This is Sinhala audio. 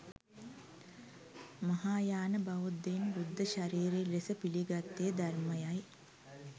මහායාන බෞද්ධයන් බුද්ධ ශරීරය ලෙස පිළිගත්තේ ධර්මය යි.